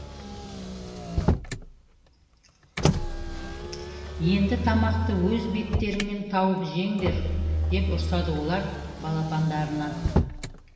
енді тамақты өз беттеріңмен тауып жеңдер деп ұрсады олар балапандарына